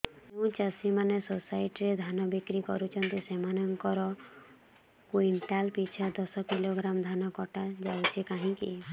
ଯେଉଁ ଚାଷୀ ମାନେ ସୋସାଇଟି ରେ ଧାନ ବିକ୍ରି କରୁଛନ୍ତି ସେମାନଙ୍କର କୁଇଣ୍ଟାଲ ପିଛା ଦଶ କିଲୋଗ୍ରାମ ଧାନ କଟା ଯାଉଛି କାହିଁକି